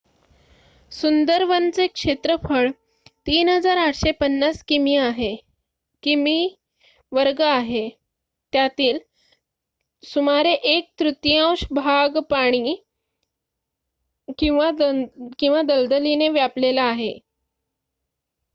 सुंदरवनचे क्षेत्रफळ 3,850 किमी² आहे त्यातील सुमारे 1 तृतीयांश भाग पाणी/दलदलीने व्यापलेला आहे